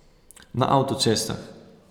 Na avtocestah.